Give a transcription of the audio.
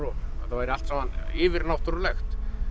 þetta væri allt saman yfirnáttúrulegt